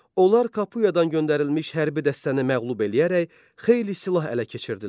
Onlar Kapuyadan göndərilmiş hərbi dəstəni məğlub eləyərək xeyli silah ələ keçirdilər.